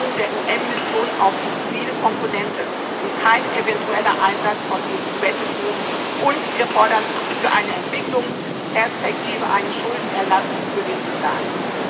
Reduzierung der UN Mission auf die zivile Komponente und kein eventueller Einsatz von EU Battlegroups und zudem fordern wir für eine Entwicklungsperspektive einen Schuldenerlass für den Sudan.